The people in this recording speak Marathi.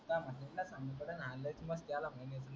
अंगात मस्ती आल्या